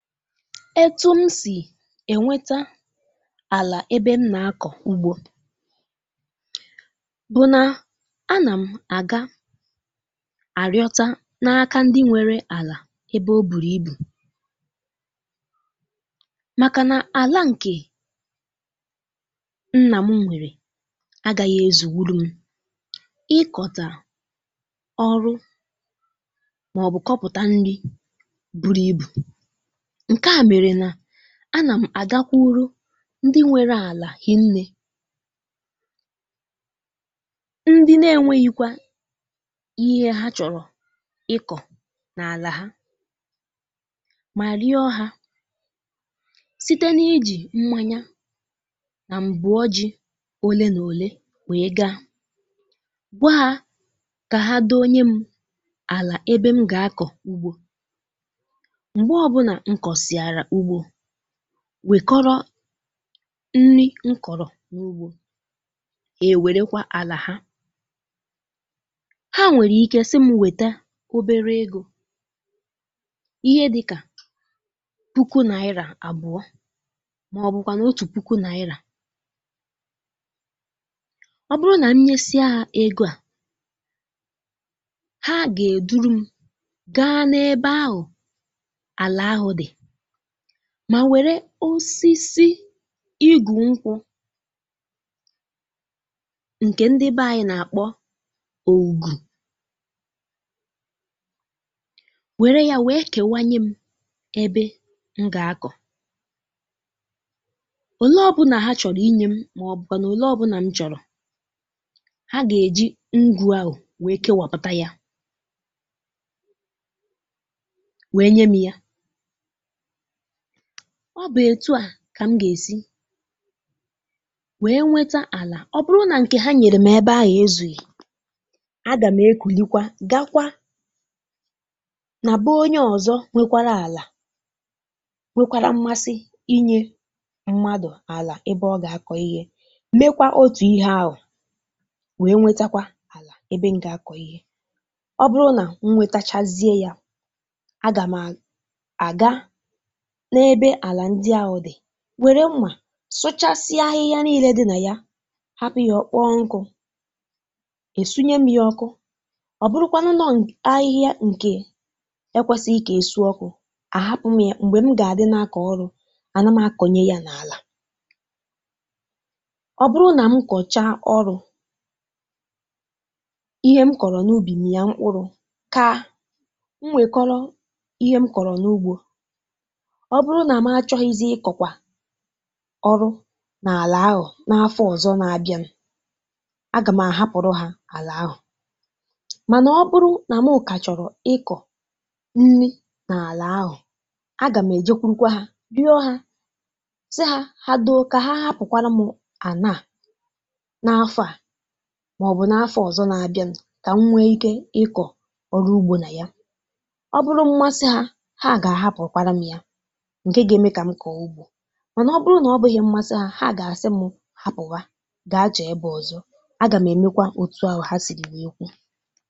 Etu m sì enwetà àlà ebe m nà-akọ̀ ugbò bú̄ nà à nà m ága arịọ̀tà n’aka ndị nwerè àlà ebe ọ bú̄ nà àlà nke nna m mèré agà-aghà ezùgbùrụ m ikọ̀rọ̀ ọlụ̀ màọ̀bụ kọpụ̀tà nri buru ibu à nà m ágàkwà urù ndị nwerè àlà hà nà-ekékọ̀rịtà nri n’ugbò mà wèrèkwà àlà hà hà nwerè ike isi m nwètè obere egò ihe dịkà puku nà irà abụọ màọ̀bụ̀kwà otu puku nà irà ọ bụrụ̀ nà m nyèsìà egò ahụ hà gà-edu m gàá n’ebe ahụ mà wèrè osisi ìgù nkwù nke ndị bè ànyị nà-akpọ̀ ògù wèe kè m ebe m gà-akọ̀ òlé ọ̀bụla hà chọ̀rọ̀ inyèrè m màọ̀bụ̀kwà òlé ọ̀bụla m chọ̀rọ̀ hà gà-èjì ngwá ahụ wèe kewàpụ̀ ya wèe nyè m ya ọ bú̄ etù à kà m gà-èsi nwètà àlà ọ bụrụ̀ nà nke hà nyèrè m ezùghị á gà m è kwùlìkwà gàá n’aka onye òzò nwekwara àlà nke nwerè mmasì inyèrè mmadù àlà ebe ọ gà-akọ̀ ihe hà gà-èmè otu ihe ahụ m wèe nwètàkwà ebe m gà-akọ̀ ihe ọ bụrụ̀ nà m nwètàchàziè ya á gà m ága n’ebe àlà ndị à dị wèe mmà sụ̀chasịa ahịhịa niile dị n’ime ya hapụ̀ ya ọ bụrụ̀ nà ọ kpọ̀ọ̀ nkụ́ èsùnyè m ya ọkụ́ mà ọ bụrụ̀ nà ahịhịa ahụ bú̄ nke ekwèsìrì kà esi ọkụ́ á gà m hapụ̀ ya m̀gbè m gà-adí n’akọ̀ ọlụ̀ à nà m akọ̀nyèkwàrà ya n’àlà ọ bụrụ̀ nà m kọ̀chà ọlụ̀ ihe m kọ̀rọ̀ n’ùbì m gà-èmè mkpụrụ̀ kà m wèkórò ihe m kọ̀rọ̀ n’ugbò ọ bụrụ̀ nà m chọ̀rọ̀ ịzì ikọ̀kwà ọlụ̀ n’àlà ahụ n’áfọ̀ òzò n’àbịa á gà m hapụ̀rị̇kwà hà àlà ahụ mà ọ bụrụ̀ nà m ùkà chọ̀rọ̀ ikọ̀ nri n’àlà ahụ òzò á gà m éjè kwà hà rịọ̀ hà sì hà dóo kà hà hapụ̀ m ya mà n’áfọ̀ à màọ̀bụ̀ n’áfọ̀ òzò n’àbịa kà m nwèè ike ikọ̀ ọlụ̀ ugbò n’ime ya ọ bụrụ̀ nà ọ bú̄ mmasì hà hà gà-ahàpụ̀kwànụ ya mà ọ bụrụ̀ nà ọ bùghì mmasì hà hà gà-àsị m hapụ̀ m gà-ajọ̀ ebe òzò á gà m èmèkwà otu hà sìrì ekwù.